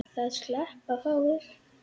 Það sleppa fáir.